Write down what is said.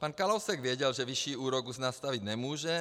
Pan Kalousek věděl, že vyšší úrok už nastavit nemůže.